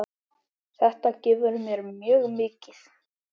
Þetta gefur mér mjög mikið.